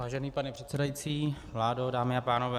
Vážený pane předsedající, vládo, dámy a pánové.